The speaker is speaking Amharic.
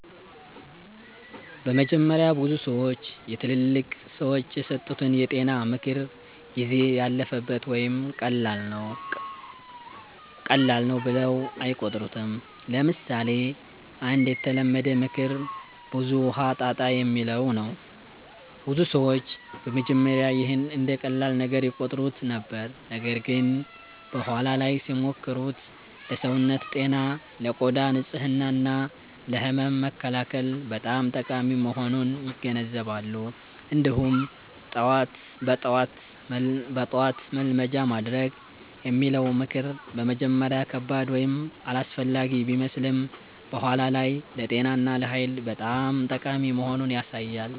በመጀመሪያ ብዙ ሰዎች የትላልቅ ሰዎች የሰጡትን የጤና ምክር “ጊዜ ያለፈበት” ወይም “ቀላል ነው” ብለው አይቆጥሩትም። ለምሳሌ አንድ የተለመደ ምክር “ብዙ ውሃ ጠጣ” የሚለው ነው። ብዙ ሰዎች በመጀመሪያ ይህን እንደ ቀላል ነገር ይቆጥሩት ነበር፣ ነገር ግን በኋላ ላይ ሲሞክሩት ለሰውነት ጤና፣ ለቆዳ ንጽህና እና ለህመም መከላከል በጣም ጠቃሚ መሆኑን ይገነዘባሉ። እንዲሁም “በጠዋት መልመጃ ማድረግ” የሚለው ምክር በመጀመሪያ ከባድ ወይም አላስፈላጊ ቢመስልም በኋላ ላይ ለጤና እና ለኃይል በጣም ጠቃሚ መሆኑን ያሳያል።